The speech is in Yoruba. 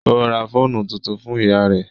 Ó ra fóònù tuntun fún ìyá rẹ́